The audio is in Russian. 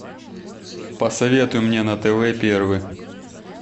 посоветуй мне на тв первый